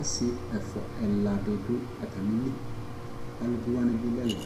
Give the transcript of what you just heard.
Asi ɛfua ɛla di dʋ atami li Alʋviwani bi lɛ ɛla